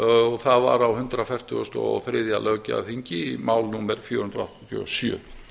og það var á hundrað fertugasta og þriðja löggjafarþingi mál númer fjögur hundruð áttatíu og sjö